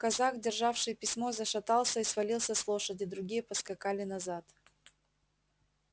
казак державший письмо зашатался и свалился с лошади другие поскакали назад